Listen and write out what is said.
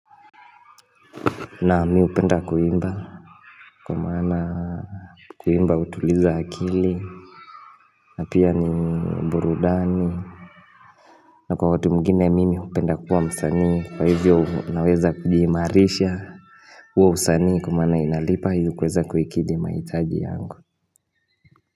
Na mi hupenda kuimba kwa maana kuimba hutuliza akili na pia ni burudani na kwa watu mwingine ya mimi hupenda kuwa msanii kwa hivyo unaweza kujihimarisha kwa usanii kumana inalipa hivyo kuweza kuhikidhi mahitaji yangu.